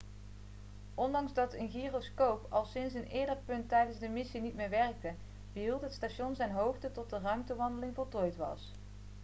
ondanks dat een gyroscoop al sinds een eerder punt tijdens de missie niet meer werkte behield het station zijn hoogte tot de ruimtewandeling voltooid was